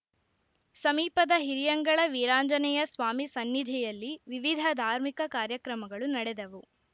ಸಮೀಪದ ಹಿರಿಯಂಗಳ ವೀರಾಂಜನೇಯ ಸ್ವಾಮಿ ಸನ್ನಿಧಿಯಲ್ಲಿ ವಿವಿಧ ಧಾರ್ಮಿಕ ಕಾರ್ಯಕ್ರಮಗಳು ನಡೆದವು